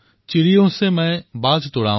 চিড়িয়া সো মে বাজ তুড়াও